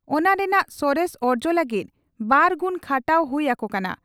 ᱚᱱᱟ ᱨᱮᱱᱟᱜ ᱥᱚᱨᱮᱥ ᱚᱨᱡᱚ ᱞᱟᱹᱜᱤᱫ ᱵᱟᱨ ᱜᱩᱱ ᱠᱷᱟᱴᱟᱣ ᱦᱩᱭ ᱟᱠᱚ ᱠᱟᱱᱟ ᱾